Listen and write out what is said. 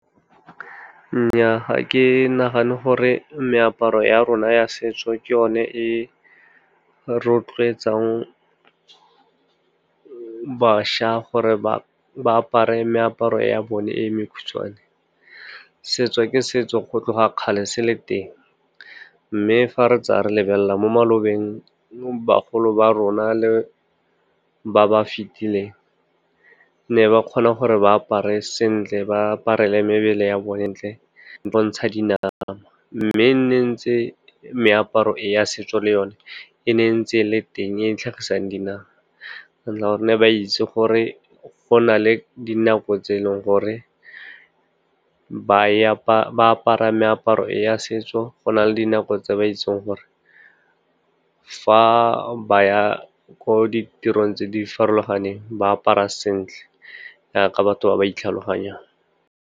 Nnyaa, ga ke nagane gore meaparo ya rona ya setso ke yone e rotloetsang bašwa gore ba apare meaparo ya bone e mekhutshwane. Setso ke setso, go tloga kgale se le teng. Mme fa re tsaya re lebelela mo malobeng, bagolo ba rona le ba ba fitileng ne ba kgona gore ba apare sentle, ba aparele mebele ya bone ntle le go bontsha dinama. Mme ne ntse meaparo ya setso le yone e ne ntse e le teng e tlhagisang dinama. ba itse gore fa go na le dinako tse eleng gore ba apara meaparo ya setso, go na le dinako tse ba itseng gore fa ba ya ko ditirong tse di farologaneng, ba apara sentle jaaka batho ba ba itlhaloganyang.